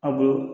A bulu